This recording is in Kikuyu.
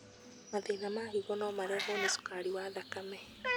Mathĩna ma higo no marehwo nĩ cukari wa thakame.